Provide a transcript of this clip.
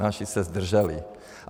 Naši se zdrželi.